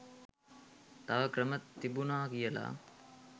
තව ක්‍රම තිබුණා කියලා.